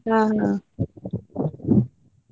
ಹ ಹ.